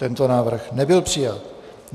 Tento návrh nebyl přijat.